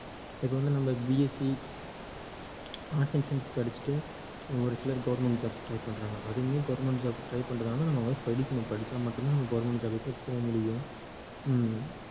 இப்ப வந்து நம்ம BSC arts and science படிச்சிட்டு ஒரு சிலர் government job க்கு try பண்றாங்க அதுவுமே government job க்கு try பண்றதா இருந்தா நம்ம வந்து படிக்கணும் படிச்சா மட்டும் தான் நம்ம வந்து government job க்கே போக முடியும் ஹம்